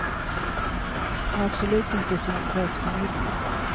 Och absolut inte sent på eftermiddagen.